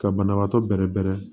Ka banabaatɔ bɛrɛ bɛrɛ